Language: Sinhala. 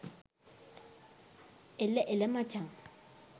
එල එල මචං